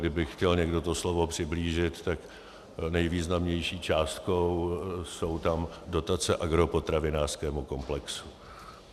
Kdyby chtěl někdo to slovo přiblížit, tak nejvýznamnější částkou jsou tam dotace agropotravinářskému komplexu.